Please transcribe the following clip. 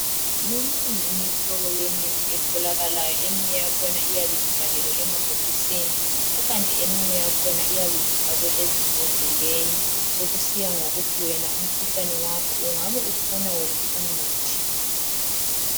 Minengi imihlobo yemithi etholakalayo, eminye yakhona iyabe ivalelwe emabhokisini, kukanti eminye yakhona iyabe ifakwe ezimbhodleleni, sokusiya ngokuthi wena umkhuhlane wakho ungabe ufuna uphi umuthi.